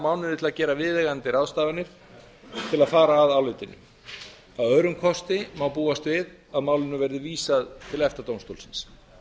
mánuði til að gera viðeigandi ráðstafanir til að fara að álitinu að öðrum kosti má búast við að málinu verði vísað til efta dómstólsins